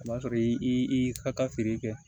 O b'a sɔrɔ i ka taa feere kɛ